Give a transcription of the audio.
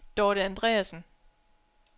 Dorthe Andreasen